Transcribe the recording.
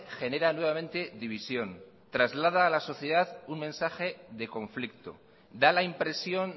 genera nuevamente división traslada a la sociedad un mensaje de conflicto da la impresión